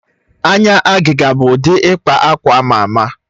Anya agịga bụ ụdị ịkpa akwa ama ama.